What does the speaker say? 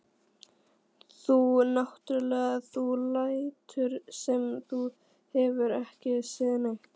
Þú náttúrlega. þú lætur sem þú hafir ekki séð neitt!